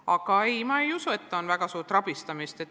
Aga ei, ma ei usu, et oleks olnud väga suurt rabistamist.